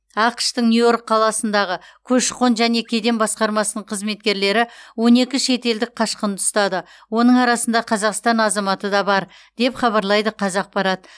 ақш тың нью йорк қаласындағы көші қон және кеден басқармасының қызметкерлері он екі шетелдік қашқынды ұстады оның арасында қазақстан азаматы да бар деп хабарлайды қазақпарат